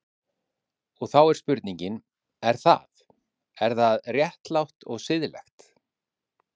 Og þá er spurningin, er það, er það réttlátt og siðlegt?